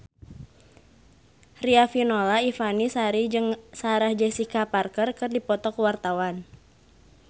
Riafinola Ifani Sari jeung Sarah Jessica Parker keur dipoto ku wartawan